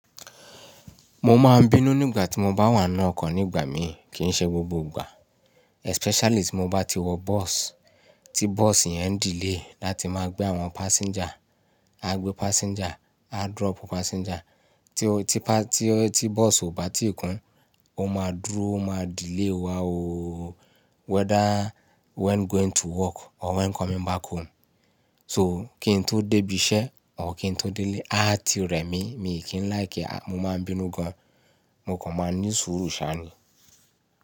Mo máa ń bínú nígbà tí mo bá wà n nu ọkọ̀ nígbà mí kí í ṣe gbogbo ìgbà. Especially tí mo bá ti wọ bus, tí bus iyẹn ń delay láti máa gbé àwọn passenger, á gbé passenger, á drop passenger, tí ó ti pas ti tí bus ò bá tì kún, ó máa dúró, ó máa delay wá ooo. Whether when going to work or when coming back home. So kí n tó débí iṣẹ́ or kí n tó délé, á ti rẹ̀ mí. Mi kì í like, mo máa ń bínú gan. Mo kò ma ní sùúrù ṣá ni.